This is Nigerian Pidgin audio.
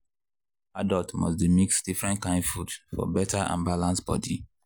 adults must dey mix different kain food for better and balance body.